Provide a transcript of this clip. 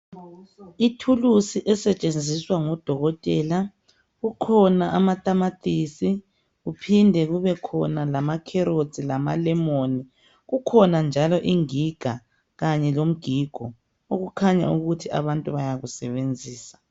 Ithulusi esetshenziswa ngudokotela. Kukhona amatamatisi, kuphinde kubekhona lamacarrots lamalemon. Kukhona njalo ingiga kanye lomgigo. Okukhanyayo ukuthi abantu bayakusebenzisa.